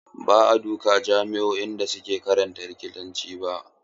Ba a duka jami'o'i suke karantar likitanci ba.